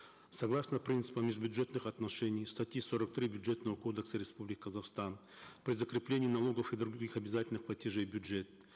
согласно принципам из бюджетных отношений статьи сорок три бюджетного кодекса республики казахстан при закреплении налогов и других обязательных платежей в бюджет